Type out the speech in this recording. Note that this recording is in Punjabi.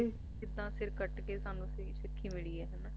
ਕਿੱਦਾਂ ਸਾਨੂੰ ਸਿਰ ਕੱਟ ਕੇ ਸਾਨੂੰ ਸਿੱਖੀ ਮਿਲੀ ਹੈ